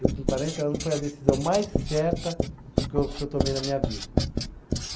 Eu, com quarenta anos, foi a decisão mais certa que eu, que eu tomei na minha vida.